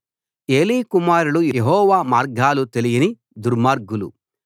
ఏలీ కుమారులు యెహోవా మార్గాలు తెలియని దుర్మార్గులు